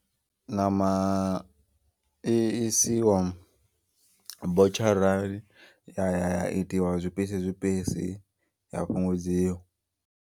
Ṋama i isiwa botsharani ya ya itiwa zwipisi zwipisi ya fhungudziwa.